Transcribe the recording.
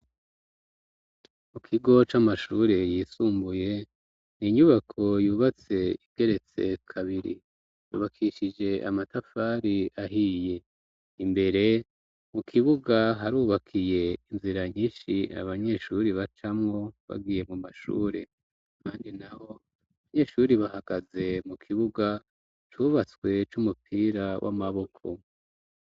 Mu kigo c'amashure yisumbuye n'inyubako yubatse igeretse kabiri yubakishije amatafari ahiye imbere mu kibuga harubakiye inzira nyishi abanyeshuri bacamwo bagiye mu mashuri kandi naho abanyeshuri bahagaze mu kibuga cubatswe c'umupira w'amaboko.